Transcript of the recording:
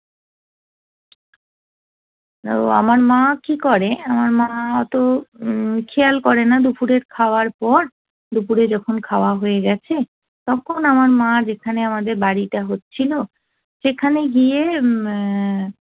আমার মা কি করে আমার মা অত খেয়াল করেনা দুপুরের খাওয়ার পর দুপুরে যখন খাওয়া হয়ে গেছে তখন আমার মা যেখানে আমাদের বাড়িটা হচ্ছিল সেখানে গিয়ে অ্যা